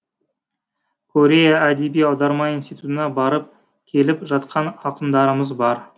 корея әдеби аударма институтына барып келіп жатқан ақындарымыз бар